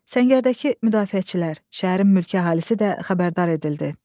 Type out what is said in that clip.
Səngərdəki müdafiəçilər, şəhərin mülki əhalisi də xəbərdar edildi.